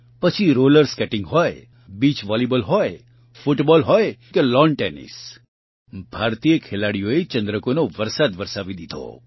પછી roller skating હોય beach volleyball હોય ફૂટબોલ હોય કે લૉન ટેનિસ ભારતીય ખેલાડીઓએ ચંદ્રકોનો વરસાદ વરસાવી દીધો